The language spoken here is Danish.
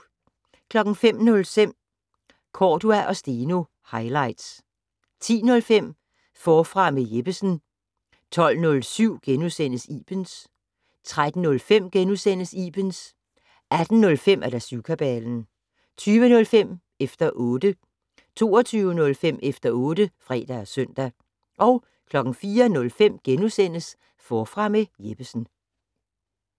05:05: Cordua & Steno - highlights 10:05: Forfra med Jeppesen 12:07: Ibens * 13:05: Ibens * 18:05: Syvkabalen 20:05: Efter 0tte 22:05: Efter otte (fre og søn) 04:05: Forfra med Jeppesen *